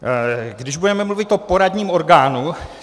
Když budeme mluvit o poradním orgánu.